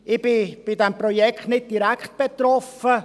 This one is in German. Ich bin von diesem Projekt nicht direkt betroffen.